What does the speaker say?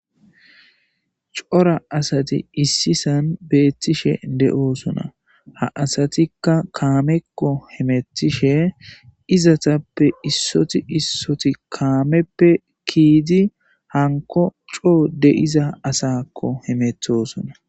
cora asati issisan beettishe de7oosona ha asatikka kaamekko hemetishe izatappe issoti issoti kaameppe kiidi hanko coo deiza asakko hemethosona